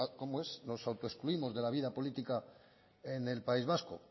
cómo es no autoexcluimos de la vida política en el país vasco